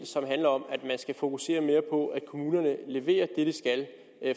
som handler om at man skal fokusere mere på at kommunerne leverer det de skal